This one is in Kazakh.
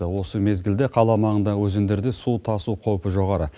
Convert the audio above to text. осы мезгілде қала маңындағы өзендерде су тасу қаупі жоғары